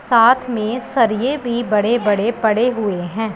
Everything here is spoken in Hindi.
साथ में सरिए भी बड़े बड़े पड़े हुए हैं।